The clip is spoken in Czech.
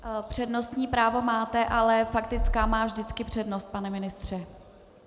Přednostní právo máte, ale faktická má vždycky přednost, pane ministře.